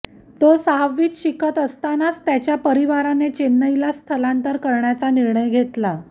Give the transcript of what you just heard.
तो सहावीत शिकत असतानाच त्याच्या परिवाराने चेन्नईला स्थलांतर करण्याचा निर्णय घेतला